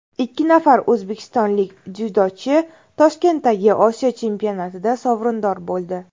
Ikki nafar o‘zbekistonlik dzyudochi Toshkentdagi Osiyo chempionatida sovrindor bo‘ldi.